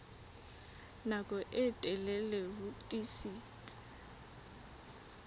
nako e telele ho tiisitse